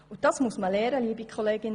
Das muss man lernen.